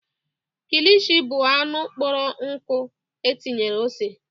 Kilishi bụ anụ kpọrọ nkụ etinyere ose.